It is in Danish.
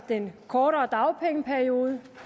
den kortere dagpengeperiode